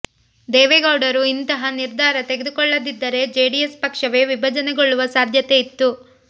ದೇವೇಗೌಡರು ಇಂತಹ ನಿರ್ಧಾರ ತೆಗೆದುಕೊಳ್ಳದಿದ್ದರೆ ಜೆಡಿಎಸ್ ಪಕ್ಷ ವೇ ವಿಭಜನೆಗೊಳ್ಳುವ ಸಾಧ್ಯತೆ ಇತ್ತು